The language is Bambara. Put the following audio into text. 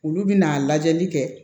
Olu bɛna lajɛli kɛ